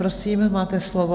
Prosím, máte slovo.